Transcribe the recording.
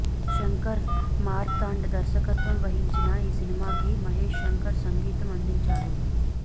శంకర్ మార్తాండ్ దర్శకత్వం వహించిన ఈ సినిమాకి మహేష్ శంకర్ సంగీతం అందించాడు